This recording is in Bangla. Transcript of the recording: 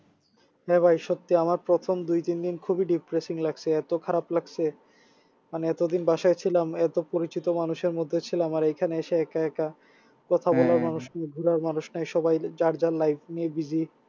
হ্যাঁ ভাই সত্যি আমার প্রথম দুই তিন দিন খুবই depressing লাগছে এত খারাপ লাগছে মানে এতদিন বাসায় ছিলাম এত পরিচিত মানুষের মধ্যে ছিলাম আর এইখানে এসে একা একা কথা মানুষ নাই ঘোরার মানুষ নাই সবাই যার যার life নিয়ে busy